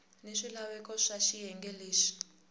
ni swilaveko swa xiyenge lexi